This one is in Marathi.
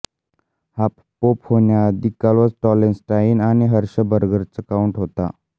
हा पोप होण्या आधी काल्व टॉलेन्स्टाइन आणि हर्शबर्गचा काउंट होता